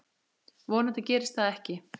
Vonandi gerist það ekki.